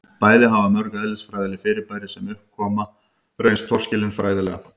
bæði hafa mörg eðlisfræðileg fyrirbæri sem upp hafa komið reynst torskilin fræðilega